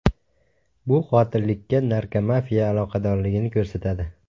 Bu qotillikka narkomafiya aloqadorligini ko‘rsatadi.